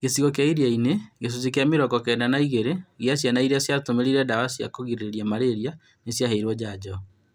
Gĩcigo kĩa iria inĩ , gĩcunjĩ kĩa mĩrongo kenda na igĩrĩ gĩa ciana iria ciatũmĩrire dawa cia kũgirĩrĩria malaria nĩciaheirwo njanjo